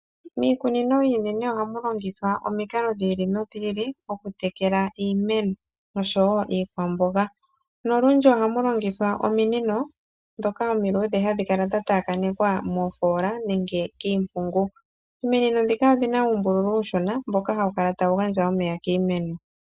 Miikunino iinene oha mu longithwa omikalo dhi ili nodhi ili okutekela iimeno osho wo iikwamboga, nolundji oha mu longithwa ominino ndhoka omiluudhe hadhi kala dha taakanekwa moofoola nenge kiimpungu. Ominino ndhika odhi na uumbululu uushona mboka ha wu kala ta wu gandja omeya kiimeno.